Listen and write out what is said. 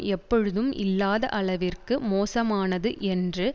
எப்பொழுதும் இல்லாத அளவிற்கு மோசமானது என்று